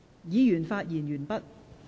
議員已發言完畢。